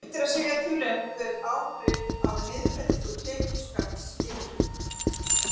Erfitt er að segja til um hver áhrif af niðurfellingu tekjuskatts yrðu.